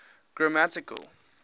grammatical